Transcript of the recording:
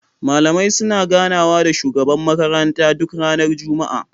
Malamai suna gana wa da shugaban makaranta duk ranar juma'a